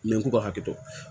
N'an k'u ka hakɛ to